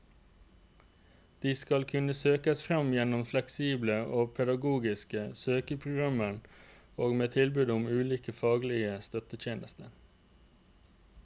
De skal kunne søkes fram gjennom fleksible og pedagogiske søkeprogrammer og med tilbud om ulike faglige støttetjenester.